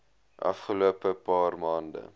afgelope paar maande